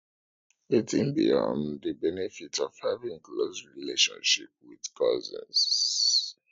wetin be um di benefit of having close relationship with cousins